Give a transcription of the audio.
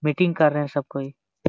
Meeting कर रहे है सबकोई।